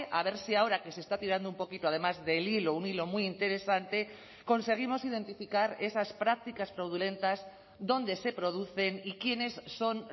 a ver si ahora que se está tirando un poquito además del hilo un hilo muy interesante conseguimos identificar esas prácticas fraudulentas dónde se producen y quiénes son